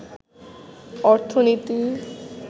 অর্থনীতি